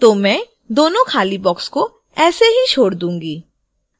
तो मैं दो खाली boxes को ऐसे ही छोड़ दूंगी